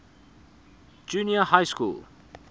junior high school